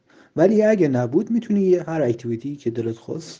варягин обучение горячего